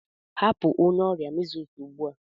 Hapụ onye ọrịa Measles ugbu a!